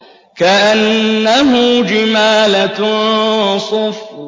كَأَنَّهُ جِمَالَتٌ صُفْرٌ